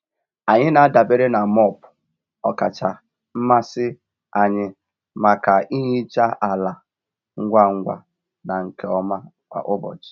Anyị na-adabere na mop ọkacha mmasị anyị maka ihicha ala ngwa ngwa na nke ọma kwa ụbọchị.